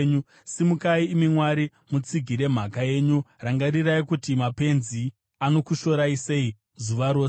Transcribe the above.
Simukai, imi Mwari, mutsigire mhaka yenyu; rangarirai kuti mapenzi anokushorai sei zuva rose.